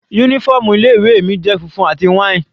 Uniform ilé ìwé mi jẹ́ funfun àti wine.